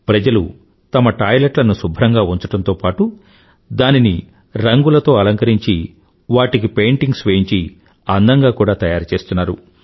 ప్రజలు తమ టాయిలెట్లను శుభ్రంగా ఉంచడంతో పాటూ దానిని రంగులతో అలంకరించి వాటికి పెయింటింగ్స్ వేయించి అందంగా కూడా తయారుచేస్తున్నారు